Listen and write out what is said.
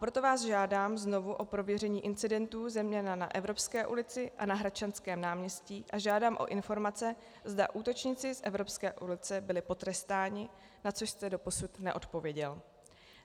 Proto vás žádám znovu o prověření incidentů zejména na Evropské ulici a na Hradčanském náměstí a žádám o informace, zda útočníci z Evropské ulice byli potrestáni, na což jste doposud neodpověděl.